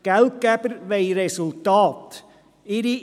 Geldgeber wollen Resultate sehen.